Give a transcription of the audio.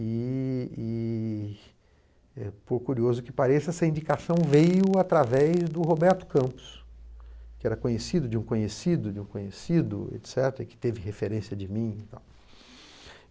E e, é por curioso que pareça, essa indicação veio através do Roberto Campos, que era conhecido de um conhecido de um conhecido e que teve referência de mim e tal.